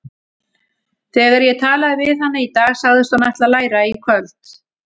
Þegar ég talaði við hana í dag sagðist hún ætla að læra í kvöld.